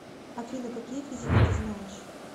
афина какие физика ты знаешь